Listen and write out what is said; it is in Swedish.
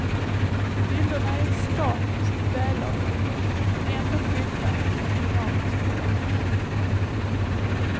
Bilderna är statiskt välavvägda men ändå fyllda med dynamisk rörelse.